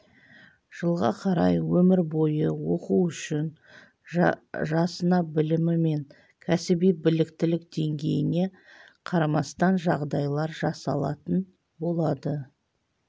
жылға қарай өмір бойы оқу үшін жасына білімі мен кәсіби біліктілік деңгейіне қарамастан жағдайлар жасалатын болады